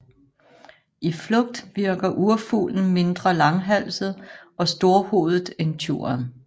I flugt virker urfuglen mindre langhalset og storhovedet end tjuren